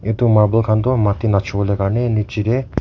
itu marble khan toh matti nachowole karne nichetey.